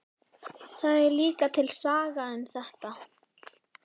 Það er líka til saga um þetta.